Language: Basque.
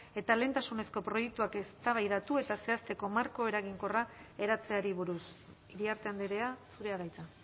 eta lehentasunezko proiektuak eztabaidatu eta zehazteko marko eraginkorra eratzeari buruz iriarte andrea zurea da hitza